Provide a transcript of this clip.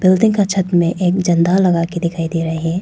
Building के छत में एक झंडा लगाकर दिखाई दे रहे हैं।